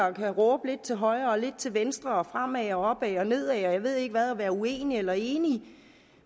og kan råbe lidt til højre og lidt til venstre og fremad og opad og nedad og jeg ved ikke hvad og være uenige eller enige